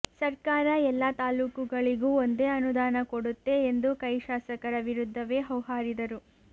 ಸರ್ಕಾರ ಎಲ್ಲಾ ತಾಲೂಕುಗಳಿಗೂ ಒಂದೇ ಅನುದಾನ ಕೊಡುತ್ತೆ ಎಂದು ಕೈ ಶಾಸಕರ ವಿರುದ್ದವೇ ಹೌಹಾರಿದರು